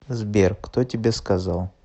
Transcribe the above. сбер кто тебе сказал